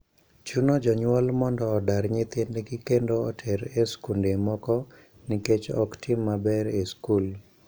Chuno jonyuol mondo odar nyithindgi kendo oter e skunde moko nikech ok tim maber e skul.